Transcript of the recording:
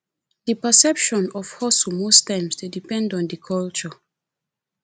di perception of hustle most times dey depend on di culture